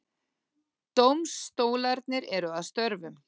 Dómstólarnir eru að störfum